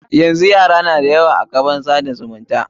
Yanzu yara da yawa na kan kafofin tsada zumunta.